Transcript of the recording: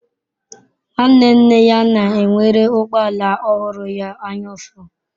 Nwanne nne ya na-enwere ụgbọ ala ọhụrụ ya anyaụfụ.